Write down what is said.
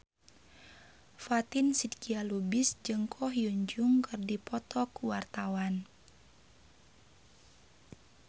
Fatin Shidqia Lubis jeung Ko Hyun Jung keur dipoto ku wartawan